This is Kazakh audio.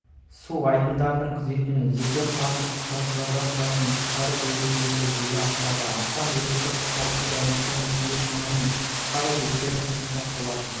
су айдындарының күзетін жеке құрамы құтқарушыдан тұратын құтқару бөлімшелері жүзеге асырады астам ерікті құтқарушы дайындықтан өтуде шамамен құтқару бекеті қосымша құрылытан